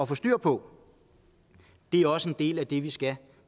få styr på det er også en del af det vi skal